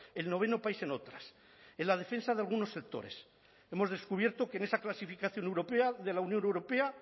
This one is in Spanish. el noveno país en otras en la defensa de algunos sectores hemos descubierto que en esa clasificación europea de la unión europea